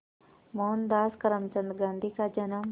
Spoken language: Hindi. मोहनदास करमचंद गांधी का जन्म